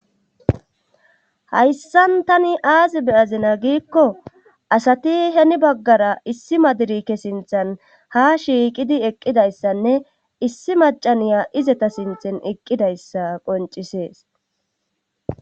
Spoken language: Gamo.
Hayssan tani aazi beyazina giikko asati heni baggara issi madirike sinthan ha shiiqidi eqqidayssanne issi macaniya izeta sinthan eqqidayssa qoncisees